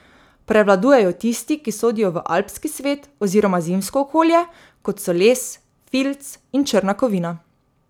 Prevladujejo tisti, ki sodijo v alpski svet oziroma zimsko okolje, kot so les, filc in črna kovina.